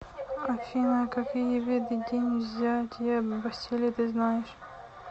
афина какие виды день взятия бастилии ты знаешь